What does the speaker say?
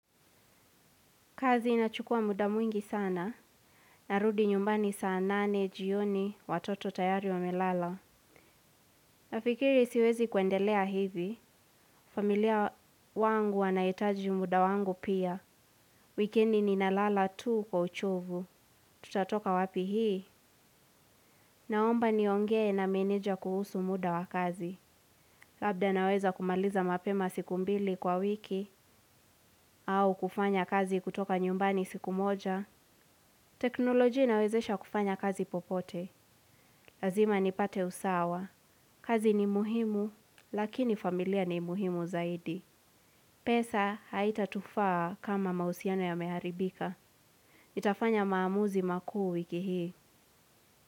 Kazi inachukua muda mwingi sana, narudi nyumbani saa nane, jioni, watoto tayari wamelala. Nafikiri siwezi kuendelea hivi, familia wangu wanaitaji muda wangu pia. Wikiendi ninalala tu kwa uchovu tutatoka wapi hii naomba niongee na meneja kuhusu muda wa kazi. Labda naweza kumaliza mapema siku mbili kwa wiki, au kufanya kazi kutoka nyumbani siku moja. Teknolojia inawezesha kufanya kazi popote. Lazima nipate usawa. Kazi ni muhimu lakini familia ni muhimu zaidi. Pesa haitatufaa kama mahusiano yameharibika. Nitafanya maamuzi makuu wiki hii.